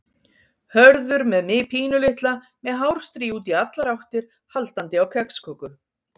Hörður með mig pínulitla með hárstrý út í allar áttir, haldandi á kexköku.